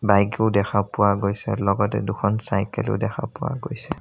Bike ও দেখা পোৱা গৈছে লগতে দুখন চাইকেল ও দেখা পোৱা গৈছে।